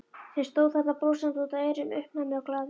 Sem stóð þarna brosandi út að eyrum, uppnæmur og glaður.